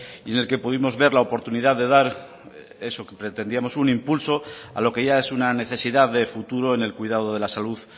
y en el que pudimos ver la oportunidad de dar eso que pretendíamos un impulso a lo que ya es una necesidad de futuro en el cuidado de la salud